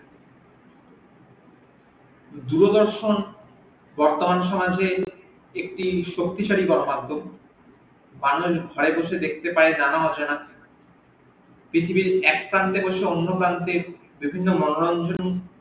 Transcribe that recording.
দূরদর্শন বর্তমান সমাজে একটি শক্তিশালী মাধ্যম আমরা ঘরে বসে দেখতে পাই নানা জানা অজানা পৃথিবীর একপ্রান্তে বসে অন্য প্রান্তে বিভিন্ন মনরঞ্জন